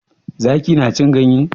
Zaki na cin ganye?